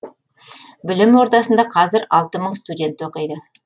білім ордасында қазір алты мың студент оқиды